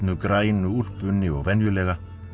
grænu úlpunni og venjulega